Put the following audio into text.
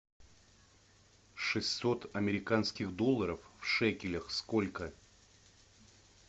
шестьсот американских долларов в шекелях сколько